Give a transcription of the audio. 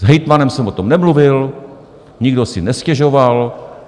S hejtmanem jsem o tom nemluvil, nikdo si nestěžoval.